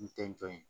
N tɛntɔ ye